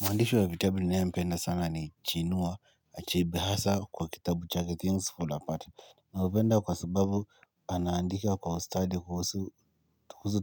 Mwandishi wa vitabu ninayempenda sana ni chinua achebe hasa kwa kitabu chake Things Fall Apart nampenda kwa sababu anaandika kwa ustadi kuhusu